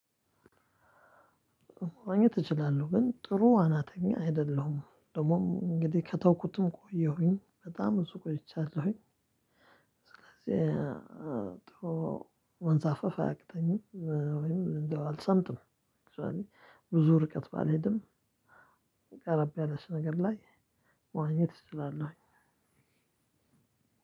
መዋኘት እችላለሁ ግን ጥሩ ዋናተኛ አይደለሁም ደግሞም እንግዲህ ከተውኩትም ቆየሁኝ በጣም ብዙ ቆይቻለሁኝ። ስለዚህ መንዛፈፍ አያቅተኝም ወይም እንደው አልሰምትም። ብዙ ርቀት ባልሄድም። ቀረብ ያለች ነገር ላይ መዋኘት እችላለሁኝ።